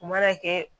U mana kɛ